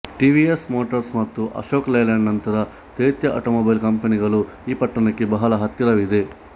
TVS motors ಮತ್ತು Ashok Leyland ನಂತ ದೈತ್ಯ ಆಟೋಮೊಬೈಲ್ ಕಂಪನಿಗಳು ಈ ಪಟ್ಟಣಕ್ಕೆ ಬಹಳ ಹತ್ತಿರವಿದೆ